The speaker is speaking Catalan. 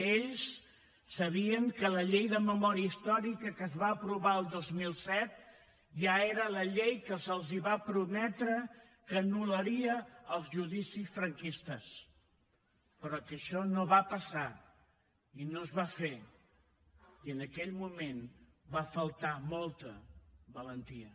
ells sabien que la llei de memòria històrica que es va aprovar el dos mil set ja era la llei que se’ls va prometre que anul·laria els judicis franquistes però que això no va passar i no es va fer i en aquell moment va faltar molta valentia